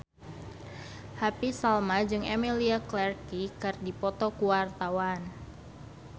Happy Salma jeung Emilia Clarke keur dipoto ku wartawan